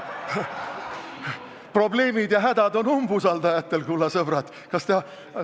Probleemid ja hädad on umbusaldajatel, kulla sõbrad!